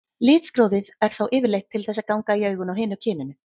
Litskrúðið er þá yfirleitt til þess að ganga í augun á hinu kyninu.